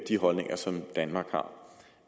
de holdninger som danmark har